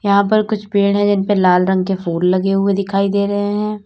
यहां पर कुछ पेड़ हैं जिन पे लाल रंग के फूल लगे हुए दिखाई दे रहे हैं।